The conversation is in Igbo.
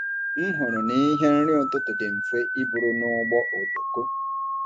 M hụrụ na ihe nri ụtụtụ dị mfe iburu n’ụgbọ oloko.